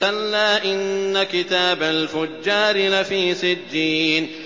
كَلَّا إِنَّ كِتَابَ الْفُجَّارِ لَفِي سِجِّينٍ